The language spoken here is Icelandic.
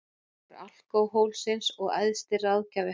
Konungur alkóhólsins og æðsti ráðgjafi hans.